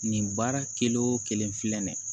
Nin baara kelen o kelen filɛ nin ye